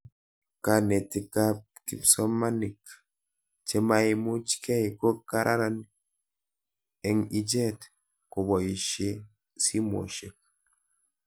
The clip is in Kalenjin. Kanetik ak kipsomanik che maimuchikei ko karan eng'ichet kopoishe simoshek